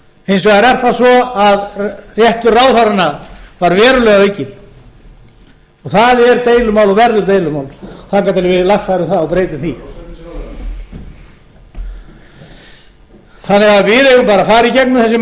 hins vegar er það svo að réttur ráðherranna var verulega aukinn og það er deilumál og verður deilumál þangað til við lagfærum það og breytum því við eigum bara að fara í gengum þessi